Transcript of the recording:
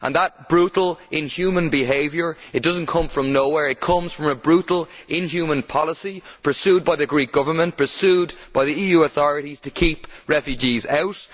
That brutal, inhuman behaviour does not come from nowhere it comes from a brutal, inhuman policy pursued by the Greek Government and pursued by the EU authorities to keep refugees out